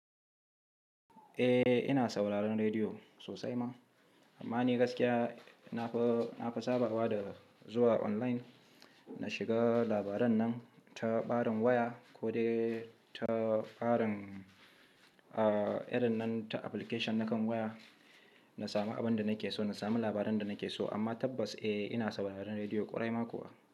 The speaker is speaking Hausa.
Eh ina sauraron rediyo sosai ma, amma ni gaskiya na fi, na fi sabawa da zuwa online na shiga labaran nan ta ɓarin waya ko dai ta ɓarin, a irin nan ta application na kan waya, na sami abin da nake so, na sami labaran da nake so. Amma tabbas eh ina sauraron rediyo ƙwarai ma kuwa.